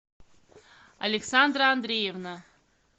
александра андреевна